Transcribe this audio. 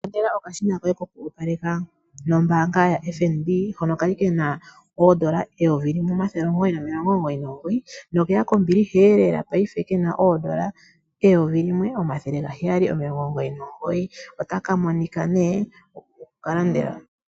Ilandela okashina koye ko ku opaleka, nombaanga ya (FNB) hono ka li kana oondola eyovi limwe omathele omugoyi nomilongo omugoyi nomugoyi, nokeya kombiliha elela paife, kena oondola eyovi limwe, omathele ga heyali nomilongo omugoyi nomugoyi.